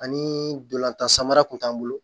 Ani dolantan samara kun t'an bolo